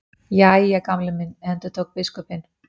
Jæja, Gamli minn endurtók biskupinn.